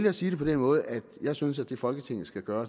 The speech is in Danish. at sige det på den måde at jeg synes at det folketinget skal gøre